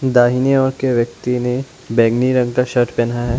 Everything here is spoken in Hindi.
दाहिने ओर के व्यक्ति ने बैंगनी रंग का शर्ट पहना है।